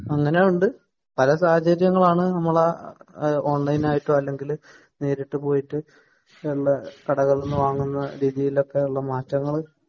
അങ്ങനെയുണ്ട് പല സാഹചര്യങ്ങളാണ് നമ്മളെ ഓൺലൈൻ ആയിട്ടോ അല്ല നേരിട്ട് പോയിട്ട് കടകളിൽ നിന്ന് വാങ്ങുന്ന രീതിയിൽ ഒക്കെ ഉള്ള മാറ്റങ്ങൾ